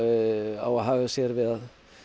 á að haga sér við að